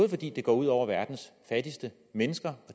fordi det går ud over verdens fattigste mennesker og